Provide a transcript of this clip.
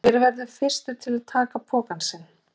Hver verður fyrstur til að taka pokann sinn?